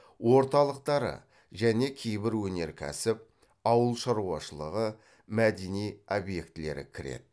орталықтары және кейбір өнеркәсіп ауыл шаруашылығы мәдени объектілері кіреді